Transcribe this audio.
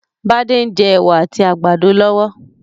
Bádé n je èwà àtí àgbàdo lọ́wọ́